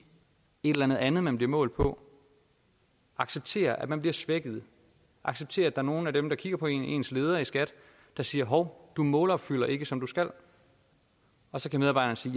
et eller andet man bliver målt på acceptere at man bliver svækket acceptere at er nogle af dem der kigger på en ens leder i skat der siger hov du målopfylder ikke som du skal og så kan medarbejderen sige